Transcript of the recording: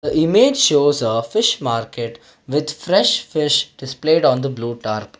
a image shows a fish market with fresh fish displayed on the blue tarp.